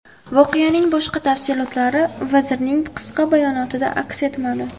Voqeaning boshqa tafsilotlari vazirning qisqa bayonotida aks etmadi.